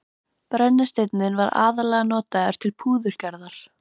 Brennisteinninn var aðallega notaður til púðurgerðar.